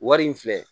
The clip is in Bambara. Wari in filɛ